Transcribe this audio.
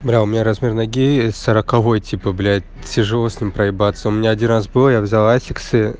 бля у меня размер ноги